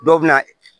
Dɔw bɛ na